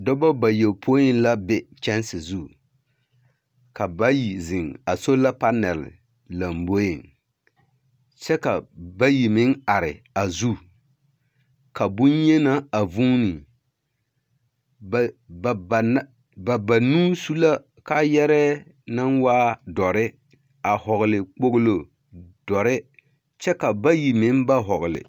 Dɔbɔ bayopoi la be kyanse zu. Ka ba bayi zeŋ a sola panɛl lamboeŋ. Kyɛ ka bayi meŋ are a zu, ka bonyenaa a vuune. Ba ba bana ba banuu su la kaayɛrɛɛ naŋ waa dɔre a hɔɔle kpoglo dɔre kyɛ ka bayi meŋ ba hɔɔgle.